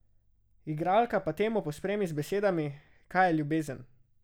Igralka pa temo pospremi z besedami: "Kaj je ljubezen?